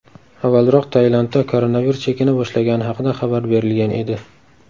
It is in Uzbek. Avvalroq Tailandda koronavirus chekina boshlagani haqida xabar berilgan edi .